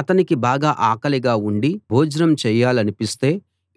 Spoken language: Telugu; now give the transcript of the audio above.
అతనికి బాగా ఆకలిగా ఉండి భోజనం చేయాలనిపిస్తే